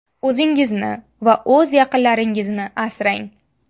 O‘zingizni va o‘z yaqinlaringizni asrang!